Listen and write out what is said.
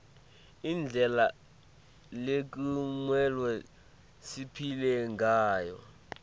indlela lekumelwe siphile ngayo